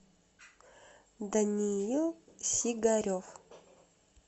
даниил сигарев